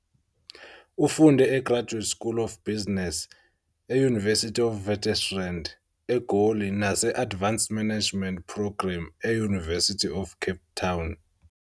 Ufunde e-Graduate School of Business e- University of Witwatersrand, eGoli nase-Advanced Management Program e- University of Cape Town